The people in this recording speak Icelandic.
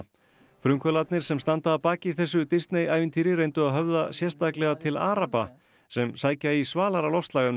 frumkvöðlarnir sem standa að baki þessu Disney ævintýri reyndu að höfða sérstaklega til araba sem sækja í svalara loftslag en við